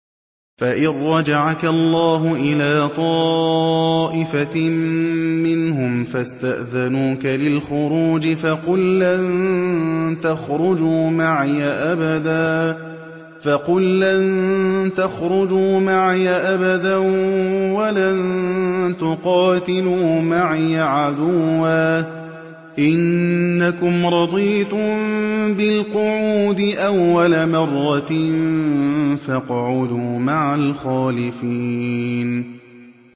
فَإِن رَّجَعَكَ اللَّهُ إِلَىٰ طَائِفَةٍ مِّنْهُمْ فَاسْتَأْذَنُوكَ لِلْخُرُوجِ فَقُل لَّن تَخْرُجُوا مَعِيَ أَبَدًا وَلَن تُقَاتِلُوا مَعِيَ عَدُوًّا ۖ إِنَّكُمْ رَضِيتُم بِالْقُعُودِ أَوَّلَ مَرَّةٍ فَاقْعُدُوا مَعَ الْخَالِفِينَ